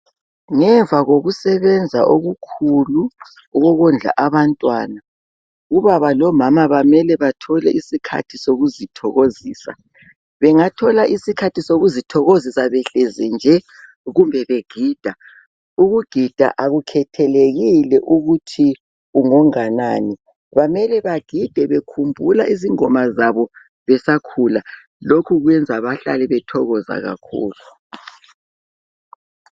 Ngemva kokusebenza okukhulu okokondla abantwana ubaba lomama bamele bathole isikhathi sokuzithokozisa bengathola isikhathi sokuzithokozisa behlezi nje kumbe begida ukugida akukhethelekile ukuthi ungongakanani bamele bagide bekhumbula izingoma zabo besakhula lokhu kuyenza bahlale bethokoza kakhulu.